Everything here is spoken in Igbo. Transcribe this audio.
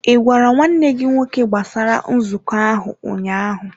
Ị gwara nwanne gị nwoke gbasara nzukọ ahụ ụnyaahụ?